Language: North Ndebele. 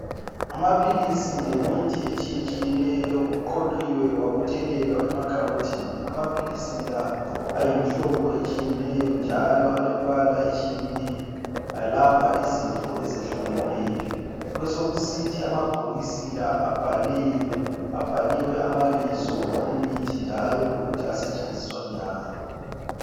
Amaphilisi lemithi etshiyetshiyeneyo kuqoqiwe kwabuthelelwa emakhabothini. Amaphilisi la ayimihlobo etshiyeneyo njalo alembala etshiyeneyo ayelapha izifo ezehlukeneyo. Besokusithi amabhokisi la abhaliwe, abhaliwe amabizo emithi njalo lokuthi asetshenziswa njani